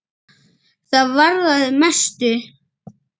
Það varðaði mestu.